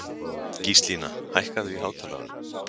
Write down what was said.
Gíslína, hækkaðu í hátalaranum.